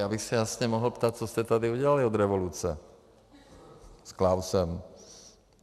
Já bych se jasně mohl ptát, co jste tady udělali od revoluce s Klausem.